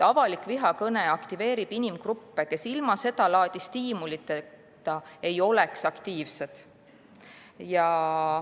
Avalik vihakõne aktiveerib inimgruppe, kes ilma seda laadi stiimuliteta ei oleks aktiivsed.